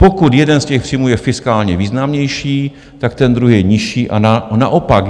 Pokud jeden z těch příjmů je fiskálně významnější, tak ten druhý je nižší a naopak.